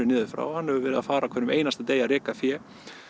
niðri frá og hann hefur verið að fara á hverjum einasta degi að reka fé